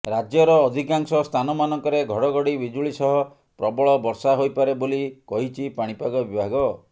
ରାଜ୍ୟର ଅଧିକାଂଶ ସ୍ଥାନମାନଙ୍କରେ ଘଡଘଡି ବିଜୁଳି ସହ ପ୍ରବଳ ବର୍ଷା ହୋଇପାରେ ବୋଲି କହିଛି ପାଣିପାଗ ବିଭାଗ